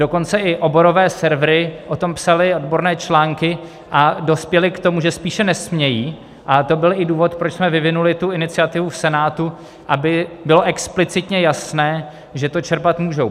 Dokonce i oborové servery o tom psaly odborné články a dospěly k tomu, že spíše nesmějí, a to byl i důvod, proč jsme vyvinuli tu iniciativu v Senátu, aby bylo explicitně jasné, že to čerpat můžou.